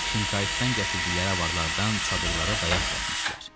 Şinkayıtdan gətirdikləri avarlardan çadırlara dayaq düzəltmişdilər.